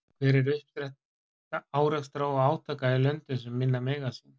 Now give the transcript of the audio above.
Hver er uppspretta árekstra og átaka í löndum sem minna mega sín?